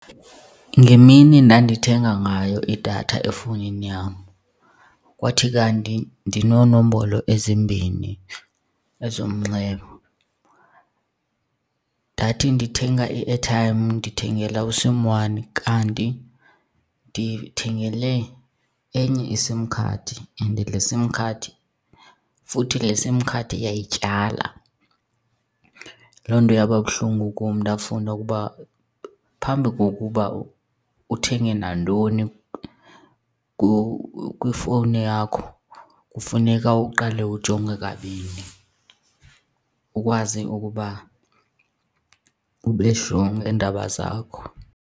Ngemini ndandithenga ngayo idatha efowunini yam kwathi kanti ndinoonombolo ezimbini ezomnxeba. Ndathi ndithenga i-airtime ndithengela u-sim one kanti ndithengele enye iSIM card and le sim card, futhi le sim card yayityala. Loo nto yaba buhlungu kum ndafunda ukuba phambi kokuba uthenge nantoni kwifowuni yakho kufuneka uqale ujonge kabini ukwazi ukuba ube sure ngeendaba zakho.